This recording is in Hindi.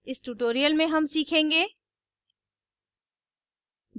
इस tutorial में हम सीखेंगे